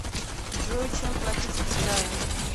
джой чем платить в китае